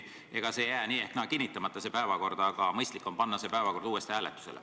Päevakord ei jääks nii ehk naa kinnitamata, aga mõistlik on panna see uuesti hääletusele.